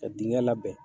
Ka dingɛ labɛn